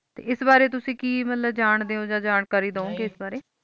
ਤੇ ਐਸ ਬਾਰੇ ਤੁਸੀਂ ਕਿ ਮੁਤਲਿਬ ਜਾਂਦੇਯੋ ਆਹ ਜਾਣਕਾਰੀ ਦਿਯੋ ਗਏ ਐਸ ਬਾਰੇ ਨਾਈ